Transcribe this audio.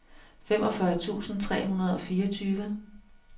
femogfyrre tusind tre hundrede og fireogtyve